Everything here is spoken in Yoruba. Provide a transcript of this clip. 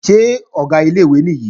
Ṣé Ọ̀gá ilé-ìwé nìyí?